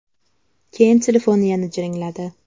Keyin telefon yana jiringladi.